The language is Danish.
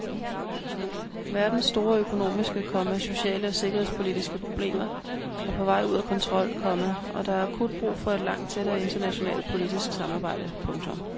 Verdens store økonomiske, komma sociale og sikkerhedspolitiske problemer er på vej ud af kontrol, komma og der er akut brug for et langt tættere internationalt politisk samarbejde. punktum